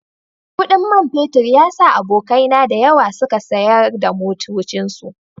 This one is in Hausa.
Kudin man fetur ya sa abokaina da yawa suka sayar da motocinsu